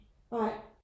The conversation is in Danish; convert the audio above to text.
Nej